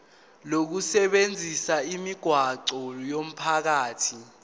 lokusebenzisa imigwaqo yomphakathi